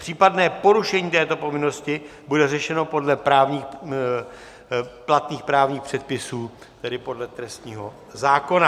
Případné porušení této povinnosti bude řešeno podle platných právních předpisů, tedy podle trestního zákona.